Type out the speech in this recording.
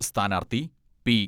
സ്ഥാനാർഥി പി.